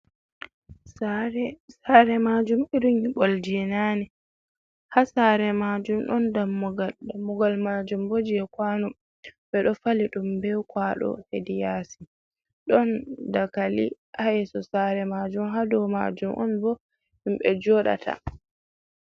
Sare, Sare majum irin nyiɓol je nane, ha sare majum ɗon dammugal, dammugal majum bo je kwano ɓe ɗo fali ɗum ɓe kwaɗo hedi yasi, ɗon dagali ha yesso sare majum ha dou majum on bo himɓɓe joɗata.